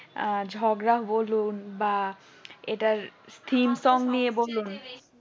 আহ ঝগড়া বলুন বা এটার theme song নিয়ে বলুন